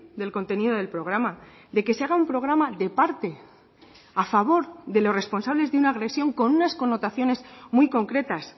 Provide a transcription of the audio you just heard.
del contenido del programa de que se haga un programa de parte a favor de los responsables de una agresión con unas connotaciones muy concretas